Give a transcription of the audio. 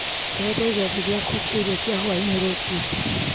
eheria gĩathĩ gĩakwa kĩa irio cia hwaĩ-inĩ rũciũ